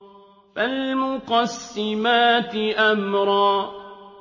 فَالْمُقَسِّمَاتِ أَمْرًا